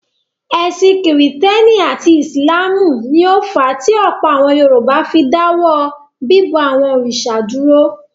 Ẹ̀sìn Kìrìtẹ́ẹ́nì àti Ìsìlámù ni ó fà á tí ọ̀pọ̀ àwọn Yorùbá fi dáwọ́ bíbọ àwọn òrìṣà dúró.